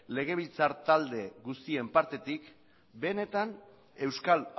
legebiltzar talde guztien partetik benetan euskal